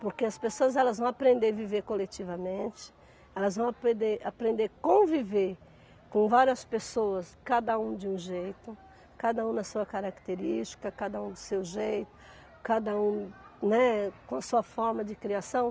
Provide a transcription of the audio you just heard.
Porque as pessoas elas vão aprender viver coletivamente, elas vão aprender, aprender conviver com várias pessoas, cada um de um jeito, cada um na sua característica, cada um do seu jeito, cada um, né, com a sua forma de criação.